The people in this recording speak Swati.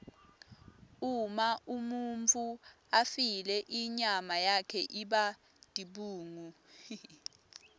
uma umuntfu afile inyama yakhe iba tibungu